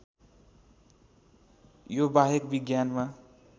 यो बाहेक विज्ञानमा